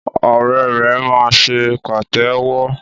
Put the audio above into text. Ọrẹ rẹ máa ṣe pàtéwọ́.